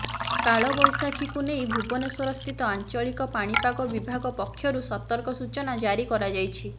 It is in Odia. କାଳବୈଶାଖୀକୁ ନେଇ ଭୁବନେଶ୍ୱରସ୍ଥିତ ଆଞ୍ଚଳିକ ପାଣିପାଗ ବିଭାଗ ପକ୍ଷରୁ ସତର୍କ ସୂଚନା ଜାରି କରାଯାଇଛି